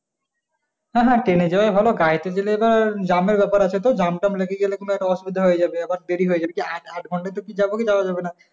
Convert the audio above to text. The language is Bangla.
হ্যাঁ হ্যাঁ train এ যাওয়াই ভালো গাড়ি তে যেতে তো jam এর ব্যাপার আছে jam tam লেগে গেলে তখন একটা অসুবিধা হয়ে যাবে আবার দেরি হয়ে যাবে কি আট ঘণ্টায় কি যাওয়া যাবে কি যাওয়া যাবে না?